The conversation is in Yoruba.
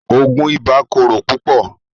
Oogun ìbà kòrò púpọ̀